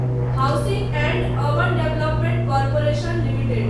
housing and urban development corporation limited